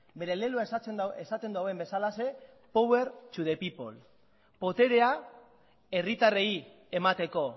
bere leloa esaten duen bezalaxe power to the people boterea herritarrei emateko